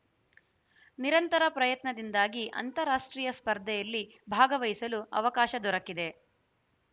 ನಿರಂತರ ಪ್ರಯತ್ನದಿಂದಾಗಿ ಅಂತಾರಾಷ್ಟ್ರೀಯ ಸ್ಪರ್ಧೆಯಲ್ಲಿ ಭಾಗವಹಿಸಲು ಅವಕಾಶ ದೊರಕಿದೆ